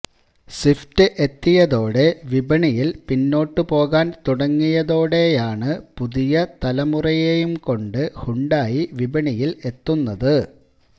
Swift എത്തിയതോടെ വിപണിയില് പിന്നോട്ട് പോകാന് തുടങ്ങിയതോടെയാണ് പുതിയ തലമുറയെയും കൊണ്ട് ഹ്യുണ്ടായി വിപണിയില് എത്തുന്നത്